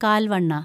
കാല്‍ വണ്ണ